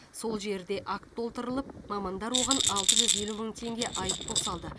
сол жерде акт толтырылып мамандар оған алты жүз елу мың теңге айыппұл салды